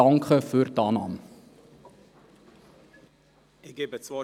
Ich danke Ihnen für die Annahme dieser Planungserklärung.